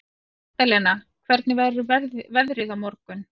Magdalena, hvernig verður veðrið á morgun?